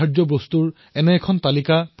ষ্টাৰ্টআপসকলেও আগুৱাই আহিব লাগিব